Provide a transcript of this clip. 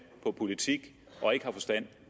på politik og ikke har forstand